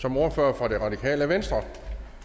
som ordfører for det radikale venstre